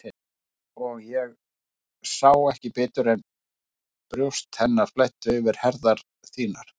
Og ég sá ekki betur en brjóst hennar flæddu yfir herðar þínar.